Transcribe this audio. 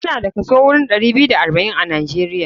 Mu da idan kaso wurin ɗari biyu da arba'in a nijeria.